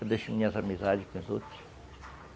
Eu deixo minhas amizades com as outras.